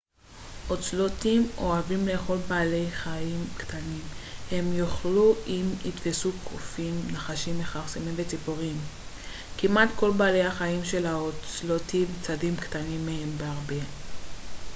אוצלוטים אוהבים לאכול בעלי חיים קטנים אם יוכלו הם יתפסו קופים נחשים מכרסמים וציפורים כמעט כל בעלי החיים שהאוצלוטים צדים קטנים מהם בהרבה